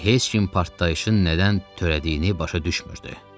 Heç kim partlayışın nədən törədiyini başa düşmürdü.